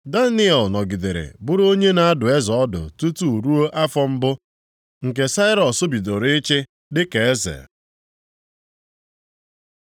Daniel nọgidere bụrụ onye na-adụ eze ọdụ tutu ruo afọ mbụ nke Sairọs bidoro ịchị dịka eze.